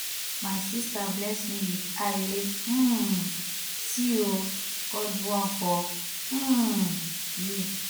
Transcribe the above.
my sister bless me with eye wey um see ooo god do am for um you